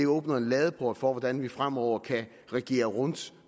åbner en ladeport for hvordan vi fremover kan regere rundt